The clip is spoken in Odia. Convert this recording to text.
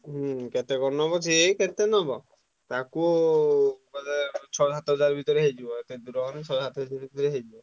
ହୁଁ କେତେ କଣ ନବ ସେଇ କେତେ ନବ ତାକୁ ବୋଧେ ଛଅ ସାତ ହଜାର ଭିତରେ ହେଇଯିବ। ଏତେ ଦୂର ମାନେ ଛଅ ସାତ ହଜାର ଭିତରେ ହେଇଯିବ।